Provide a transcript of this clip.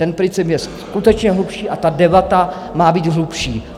Ten princip je skutečně hlubší a ta debata má být hlubší.